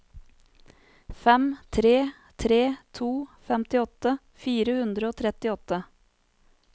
fem tre tre to femtiåtte fire hundre og trettiåtte